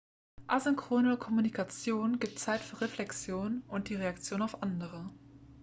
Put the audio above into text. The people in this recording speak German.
asynchrone kommunikation gibt zeit für reflexion und die reaktion auf andere